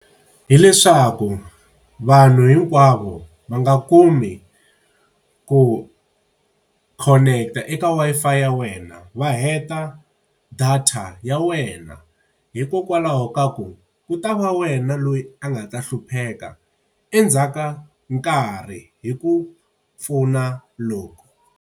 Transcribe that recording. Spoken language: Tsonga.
Hileswaku vanhu hinkwavo va nga kumi ku connect-a eka Wi-Fi ya wena va heta data ta ya wena, hikokwalaho ka ku ku ta va wena loyi a nga ta hlupheka endzhaku ka nkarhi hi ku pfuna loku.